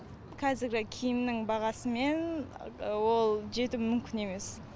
қазіргі киімнің бағасымен ол жету мүмкін емес